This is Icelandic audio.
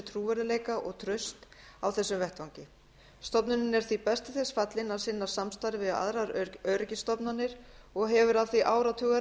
trúverðugleika og traust á þessum vettvangi stofnunin er því best til þess fallin að sinna samstarfi við aðrar öryggisstofnanir og hefur af því áratuga